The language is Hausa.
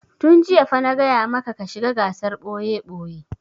Tun jiya fa na gaya maka ka shiga gasar ɓoye-ɓoye!